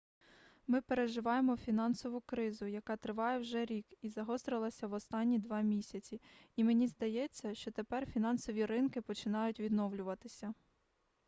ми переживаємо фінансову кризу яка триває вже рік і загострилася в останні два місяці і мені здається що тепер фінансові ринки починають відновлюватися